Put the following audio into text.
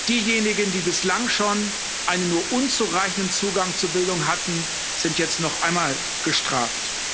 Diejenigen, die bislang schon einen nur unzureichenden Zugang zu Bildung hatten, sind jetzt noch einmal gestraft.